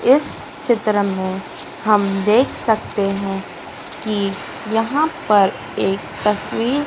इस चित्र में हम देख सकते हैं कि यहां पर एक तस्वीर--